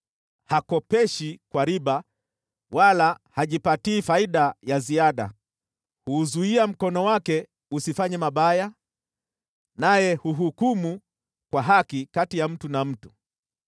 Hakopeshi kwa riba wala hajipatii faida ya ziada. Huuzuia mkono wake usifanye mabaya, naye huhukumu kwa haki kati ya mtu na mtu.